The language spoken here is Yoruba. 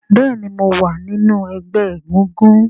béèni mọ wá nínú egbé egúngún.